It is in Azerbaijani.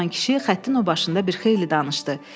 Nəriman kişi xəttin o başında bir xeyli danışdı.